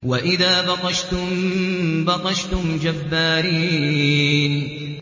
وَإِذَا بَطَشْتُم بَطَشْتُمْ جَبَّارِينَ